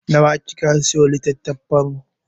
Nawa kika sayo litattafan?